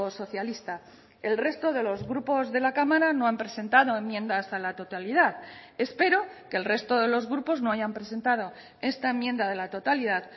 socialista el resto de los grupos de la cámara no han presentado enmiendas a la totalidad espero que el resto de los grupos no hayan presentado esta enmienda de la totalidad